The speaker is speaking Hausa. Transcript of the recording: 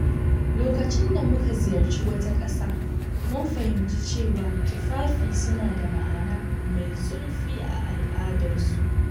Lokacin da muka ziyarci wata ƙasa, mun fahimci cewa tufafi suna da ma’ana mai zurfi a al’adarsu.